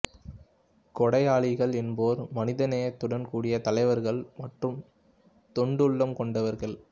கொடையாளிகள் என்போர் மனிதநேயத்துடன் கூடிய தலைவர்கள் மற்றும் தொண்டுள்ளம் கொண்டவர்கள்